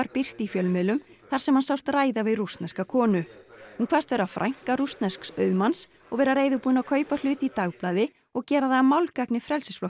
birt í fjölmiðlum þar sem hann sást ræða við rússneska konu hún kvaðst vera frænka rússnesks auðmanns og vera reiðubúin að kaupa hlut í dagblaði og gera það að málgagni